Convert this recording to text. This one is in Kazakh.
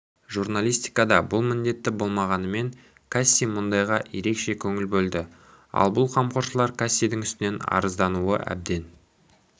журналистикада бұл міндетті болмағанымен касси мұндайға ерекше көңіл бөлді ал бұл қамқоршылар кассидің үстінен арыздануы әбден